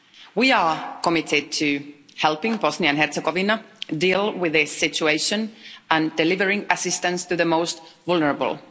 We are committed to helping Bosnia and Herzegovina deal with this situation and delivering assistance to the most vulnerable.